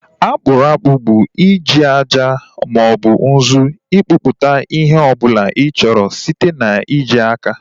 Akpụrụ akpụ bụ i ji aja maọbụ nzu ịkpụpụta ihe ọbụla ị chọrọ site na ị ji aka